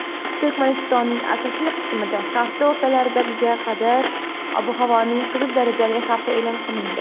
Turkmanistonning asosiy qismida hafta o‘rtalariga qadar ob-havoning "qizil darajali" xavfi e’lon qilindi.